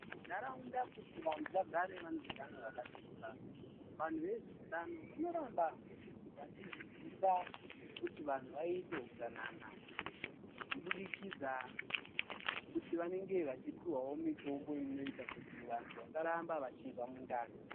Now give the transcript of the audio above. Nharaunda kuti vantu vagare vane utano hwakasimba. Vantu vezveutano, vanoramba vachidzidzisa kuti vantu vaite hutsanana, kubudikidza nekuti vanenge vachipihwa mitombo inoita kuti vantu vasarambe vachinzwa mundani.